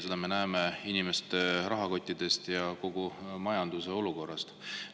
Seda me näeme inimeste rahakottidest ja kogu majanduse olukorrast.